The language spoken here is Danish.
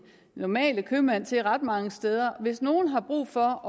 normale købmand til ret mange steder hvis nogen har brug for